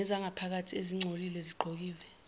nezangaphakathi ezingcolile zigoqiwe